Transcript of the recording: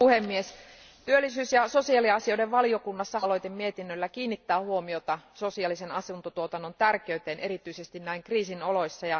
Arvoisa puhemies, työllisyys ja sosiaaliasioiden valiokunnassa halusimme tällä oma aloitemietinnöllä kiinnittää huomiota sosiaalisen asuntotuotannon tärkeyteen erityisesti näin kriisin oloissa.